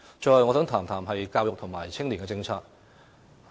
最後，我想談談教育和青年政策。